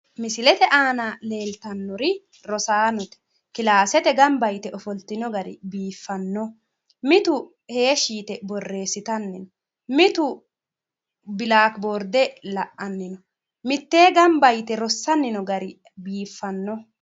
Misilete aana leeltannoti rosaanote ofoltino gari biiffannoho mitu heeshshi yite borreessitanni no mitu bilakiborde la'anni no mitteenni gamba yite rossanni noo gari biiffanno.